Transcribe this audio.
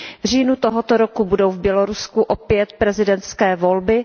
V říjnu tohoto roku budou v Bělorusku opět prezidentské volby.